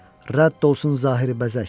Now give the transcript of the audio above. Rədd olsun zahiri bəzək.